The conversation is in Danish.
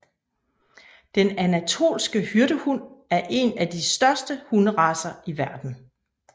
Den anatolske hyrdehund er en af de største hunderacer i verden